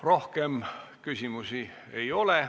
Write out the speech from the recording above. Rohkem küsimusi ei ole.